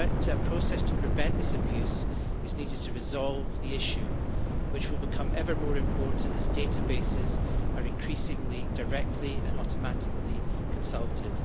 A process to prevent this abuse is needed to resolve the issue, which will become ever more important as databases are increasingly, directly and automatically consulted.